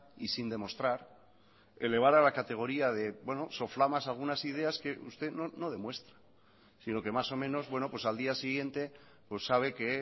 y sin demostrar elevar a la categoría de soflamas algunas ideas que usted no demuestra sino que más o menos bueno pues al día siguiente sabe que